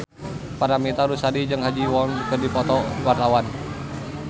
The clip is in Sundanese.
Paramitha Rusady jeung Ha Ji Won keur dipoto ku wartawan